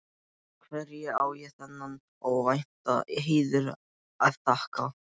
Hverju á ég þennan óvænta heiður að þakka?